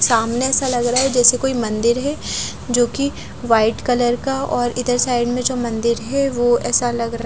सामने ऐसा लग रहा है जैसै कोई मंदिर है जो कि व्हाइट कलर का और इधर साइड में जो मंदिर है वो ऐसा लग रहा--